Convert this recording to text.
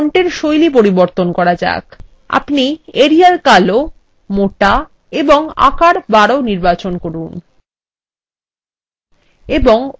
এখানে ফন্টের style পরিবর্তন করা যাক; আমরা arial কালো মোটা এবং আকার ১২ নির্বাচন করব